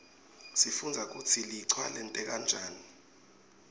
sifundza kutsi lichwa lenteka njani